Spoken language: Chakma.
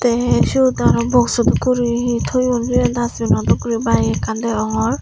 te siyot araw box so dokke guri hi toyon sibe dustbin no dokke guri bike ekkan degongor.